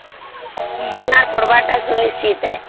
ବୀମାର ପଡିବ ତା ସୁନିଶ୍ଚିତ